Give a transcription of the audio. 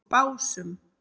Básum